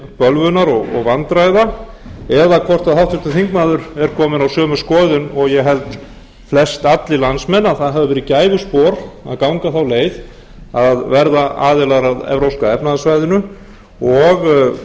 bölvunar og vandræða eða hvort háttvirtur þingmaður er kominn á sömu skoðun og ég held flestallir landsmenn að það hafi verið gæfuspor að ganga þá leið að verða aðilar að evrópska efnahagssvæðinu og